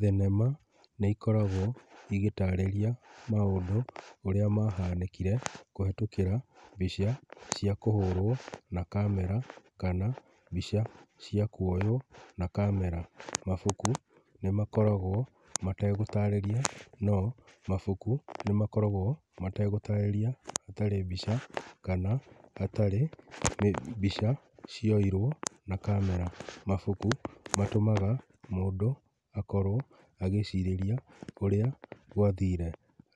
Thenema nĩ ikoragwo igĩtarĩria maũndũ ũrĩa mahanĩkire kũhetũkĩra mbica cia kũhũrwo na camera kana mbica cia kuoywo na camera. Mabuku nĩ makoragwo mategũtarĩria no mabuku nĩmakoragwo mategũtarĩria hatarĩ mbica kana hatarĩ mbica cioirwo na camera. Mabuku matũmaga mũndũ akorwo agĩcirĩria ũrĩa gwathire,